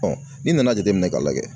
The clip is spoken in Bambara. n'i nana jateminɛ ka lajɛ